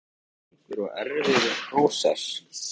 Þetta var ótrúlega langur og erfiður prósess.